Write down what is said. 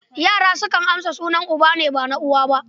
Yara sukan amsa sunan uba ne, ba na uwa ba.